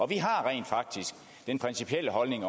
vi har rent faktisk også den principielle holdning